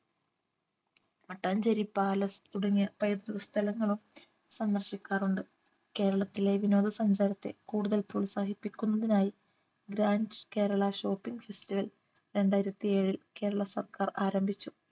Mattancherry palace തുടങ്ങിയ പൈതൃക സ്ഥലങ്ങളും സന്ദർശിക്കാറുണ്ട് കേരളത്തിലെ വിനോദ സഞ്ചാരത്തെ കൂടുതൽ പ്രോത്സാഹിപ്പിക്കുന്നതിനായി grands Kerala shopping festival രണ്ടായിരത്തിയേഴിൽ കേരള സർക്കാർ ആരംഭിച്ചു